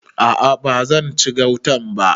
A'a ba zan ci gautan ba.